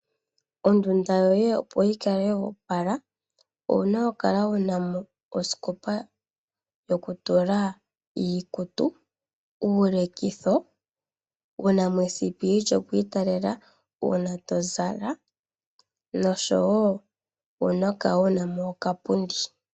Ondunda yoye opo yi kale yopala owuna oku kala wuna mo osikopa yokutula iikutu, uulekitho ,wuna mo esipili lyoku italela uuna to zala noshowo owuna oku kala wuna mo okapundi.